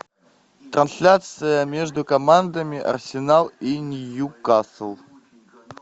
трансляция между командами арсенал и ньюкасл